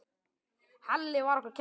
Halli var okkur kær.